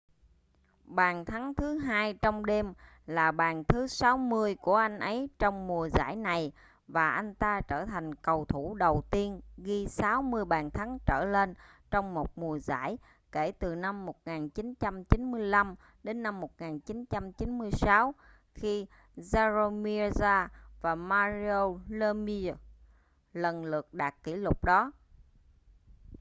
bàn thắng thứ hai trong đêm là bàn thứ 60 của anh ấy trong mùa giải này và anh ta trở thành cầu thủ đầu tiên ghi 60 bàn thắng trở lên trong một mùa giải kể từ năm 1995-1996 khi jaromir jagr và mario lemieux lần lượt đạt kỷ lục đó